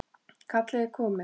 Kallið er komið.